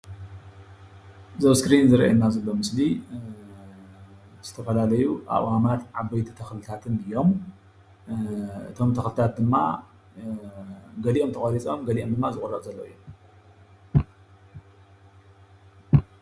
እዚ ኣብ እስክሪን ዝረአየና ዘሎ ምስሊ ዝተፈላለዩ ኣእዋማት ዓበይቲ ተክልታትን እዮም፡፡ እቶም ተክልታት ድማ ገሊኦም ተቆሪፆም ገሊኦም ድማ ዝቁረፁ ዘለዉ እዮም፡፡